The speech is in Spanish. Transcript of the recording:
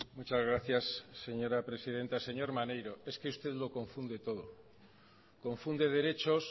muchas gracias señora presidenta señor maneiro es que usted lo confunde todo confunde derechos